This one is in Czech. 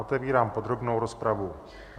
Otevírám podrobnou rozpravu.